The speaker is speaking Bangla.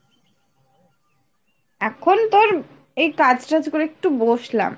এখন তোর এই কাজ টাজ করে একটু বসলাম